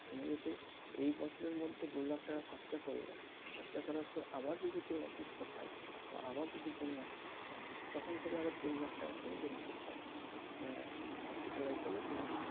তুমি যদি এই বছরের মধ্যে দু লাখ টাকা খরচা করলে খরচা করার পর আবার যদি কেউ অসুস্থ হয় বা আবার যদি তুমি অসুস্থ হও তখন থেকে আবার তিন লাখ টাকার তুমি benefit পাবে আহ hospitalize হলে তুমি,